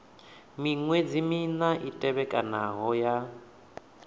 miṅwedzi mina i tevhekanaho ya